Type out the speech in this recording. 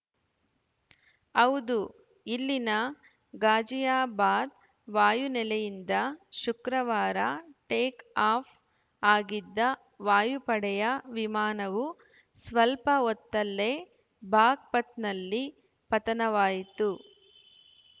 ಹೌದು ಇಲ್ಲಿನ ಗಾಜಿಯಾಬಾದ್‌ ವಾಯುನೆಲೆಯಿಂದ ಶುಕ್ರವಾರ ಟೇಕ್‌ಆಫ್‌ ಆಗಿದ್ದ ವಾಯುಪಡೆಯ ವಿಮಾನವು ಸ್ವಲ್ಪ ಹೊತ್ತಲ್ಲೇ ಬಾಗ್‌ಪಥ್‌ನಲ್ಲಿ ಪತನವಾಯಿತು